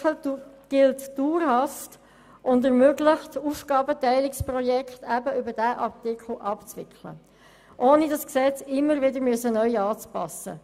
Dieser Artikel gilt dauerhaft und ermöglicht es, gestützt darauf Aufgabenteilungsprojekte abzuwickeln, ohne das Gesetz immer wieder neu anpassen zu müssen.